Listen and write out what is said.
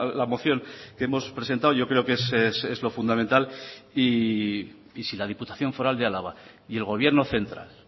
la moción que hemos presentado yo creo que es lo fundamental y si la diputación foral de álava y el gobierno central